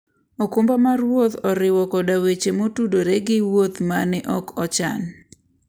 okumba mar wuoth oriwo koda weche motudore gi wuoth ma ne ok ochan.